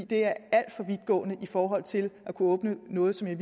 det er alt for vidtgående i forhold til at kunne åbne noget som jeg